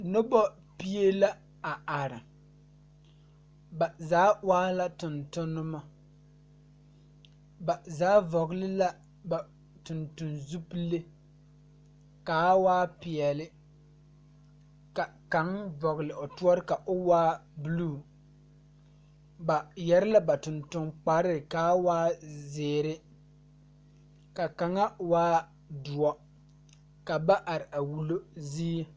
Nobɔ pie la a are ba zaa waa la tontonnema ba zaa vɔgle la ba tonton zupile kaa waa peɛɛli ka kaŋ vɔgle o toɔre ka o waa bluu ba yɛre la ba tonton kparre kaa o waa zeere ka kaŋa waa doɔ ka ba are a wulo zie.